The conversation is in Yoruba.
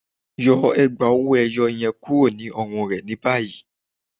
Yọ ègbá owó-èyó yẹ̀n kúrò ní ọ̀rùn rẹ ni bayí.